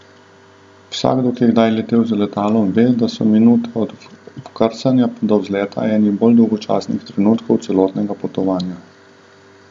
Vsakdo, ki je kdaj letel z letalom ve, da so minute od vkrcanja pa do vzleta, eni bolj dolgočasnih trenutkov celotnega potovanja.